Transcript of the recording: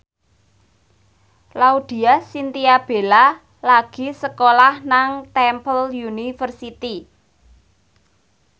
Laudya Chintya Bella lagi sekolah nang Temple University